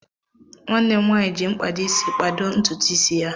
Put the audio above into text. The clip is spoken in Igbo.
Nwanne m nwaanyị ji mkpado isi kpado ntutu isi ya.